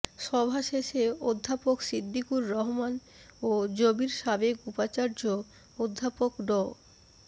সভা শেষে অধ্যাপক সিদ্দিকুর রহমান ও জবির সাবেক উপাচার্য অধ্যাপক ড